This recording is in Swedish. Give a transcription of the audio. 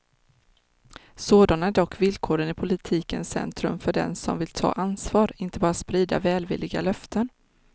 Sådana är dock villkoren i politikens centrum och för dem som vill ta ansvar, inte bara sprida välvilliga löften.